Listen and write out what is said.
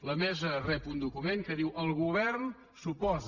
la mesa rep un document que diu el govern s’oposa